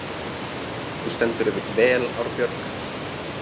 Þú stendur þig vel, Árbjörg!